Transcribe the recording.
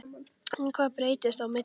En hvað breyttist á milli?